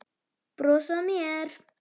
Brosa að mér!